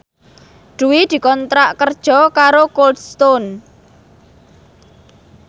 Dwi dikontrak kerja karo Cold Stone